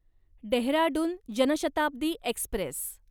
Dehradun Janshatabdi Express